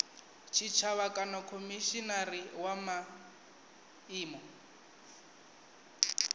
tshitshavha kana khomishinari wa miano